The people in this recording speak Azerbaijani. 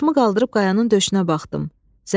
Başımı qaldırıb qayanın döşünə baxdım.